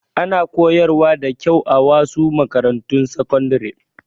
Ana koyar wa da kyau a wasu makarantun sakandare